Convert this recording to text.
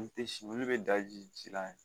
U te si olu be daji ji la de